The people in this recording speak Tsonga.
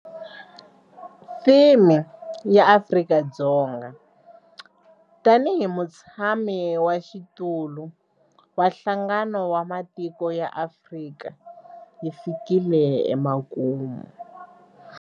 Theme ya Afrika-Dzonga tanihi mutshamaxitulu wa Nhlangano wa Matiko ya Afrika yi fikile emakumu.